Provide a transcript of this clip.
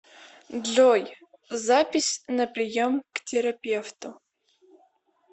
джой запись на прием к терапевту